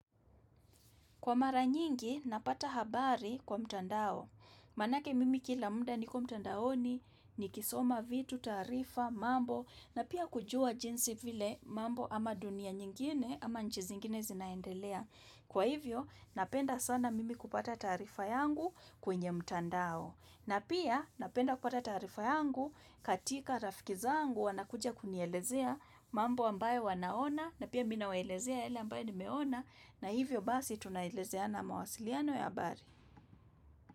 Kwa mara nyingi, napata habari kwa mtandao. Manake mimi kila muda niko mtandaoni, ni kisoma vitu, taarifa, mambo, na pia kujua jinsi vile mambo ama dunia nyingine ama nchi zingine zinaendelea. Kwa hivyo, napenda sana mimi kupata tarifa yangu kwenye mtandao. Na pia napenda kukata taarifa yangu katika rafiki zangu wana kuja kunielezea mambo ambayo wanaona na pia mi nawaelezea yale ambayo nimeona na hivyo basi tunaelezea na mawasiliano ya ha bari.